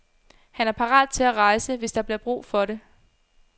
Han er parat til at rejse, hvis der bliver brug for det.